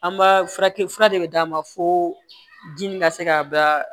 An b'a furakɛ fura de bɛ d'a ma fo ji ka se ka ba